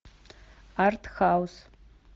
артхаус